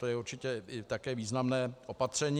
To je určitě také významné opatření.